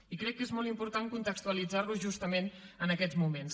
i crec que és molt important contextualitzarlo justament en aquests moments